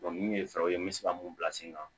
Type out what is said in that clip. min ye fɛɛrɛw ye n bɛ se ka mun bila sen kan